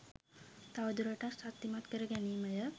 තවදුරටත් ශක්තිමත් කරගැනීමය